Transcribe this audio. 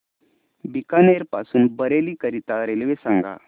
बीकानेर पासून बरेली करीता रेल्वे सांगा